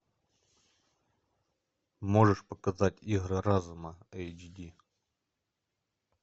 можешь показать игры разума эйч ди